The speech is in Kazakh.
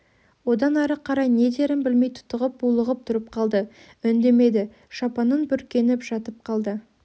одан ары қарай не дерін білмей тұтығып булығып тұрып қалды үндемеді шапанын бүркеніп жатып қалды